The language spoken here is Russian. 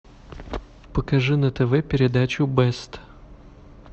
покажи на тв передачу бест